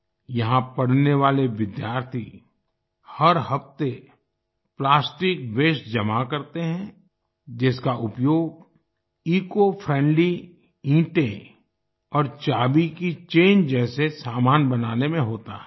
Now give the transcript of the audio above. यहां पढ़ने वाले विद्यार्थी हर हफ्ते प्लास्टिक वास्ते जमा करते हैं जिसका उपयोग ईसीओ फ्रेंडली ईटें और चाबी की चैन जैसे सामान बनाने में होता है